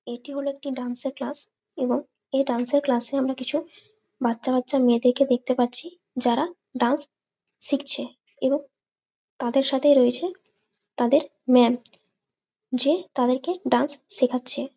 এটি হলো একটি ডান্স এর ক্লাস । এবং এই ডান্স এর ক্লাস -এ বাচ্ছা বাচ্ছা মেয়েদেরকে দেখতে পাচ্ছি যারা ডান্স শিখছে। এবং তাদের সাথে রয়েছে তাদের ম্যাম যে তাদেরকে ডান্স শেখাচ্ছে।